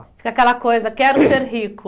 Fica aquela coisa, quero ser rico.